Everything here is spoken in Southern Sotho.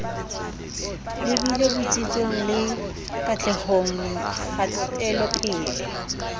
lebile botsitsong le katlehong kgatelopele